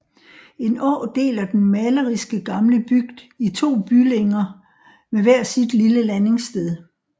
En å deler den maleriske gamle bygd i to bylinger med hver sit lille landingssted